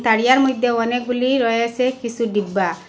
তারিয়ার মধ্যে অনেকগুলি রয়েছে কিছু ডিব্বা।